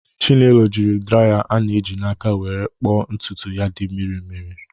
Chinelo jiri draya ana-eji n'aka wee kpoo ntutu ya dị mmiri mmiri